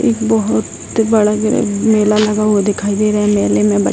एक बहोत बड़ा-बड़ा मेला लगा हुआ दखाई दे रहा है मेले में ब --